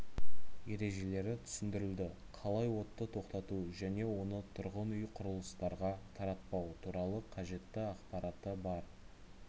ережелері түсіндірілді қалай отты тоқтату және оны тұрғын үй құрылыстарға таратпау туралы қажетті ақпараты бар